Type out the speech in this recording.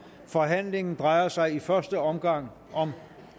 forhandlingen drejer sig i første omgang om